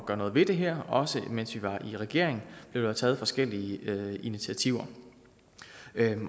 gøre noget ved det her også mens vi var i regering blev der taget forskellige initiativer